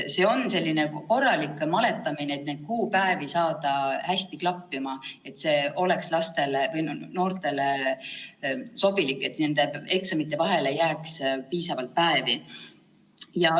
See on selline korralik maletamine, et saada neid kuupäevi hästi klappima, et see oleks noortele sobilik ja nende eksamite vahele jääks piisavalt päevi.